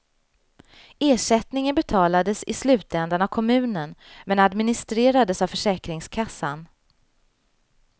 Ersättningen betalades i slutändan av kommunen, men administrerades av försäkringskassan.